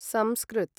संस्कृत्